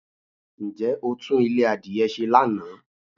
Ǹjẹ́ o tún Ilé adìye se Lana?